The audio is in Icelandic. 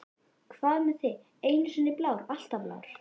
Hvað með þig, einu sinni blár, alltaf blár?